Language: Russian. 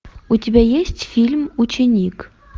у тебя есть фильм ученик